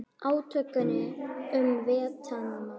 Átökin um Víetnam